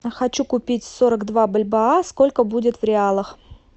хочу купить сорок два бальбоа сколько будет в реалах